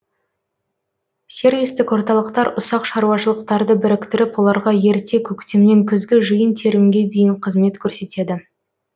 сервистік орталықтар ұсақ шаруашылықтарды біріктіріп оларға ерте көктемнен күзгі жиын терімге дейін қызмет көрсетеді